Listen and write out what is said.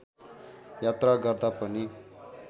यात्रा गर्दा पनि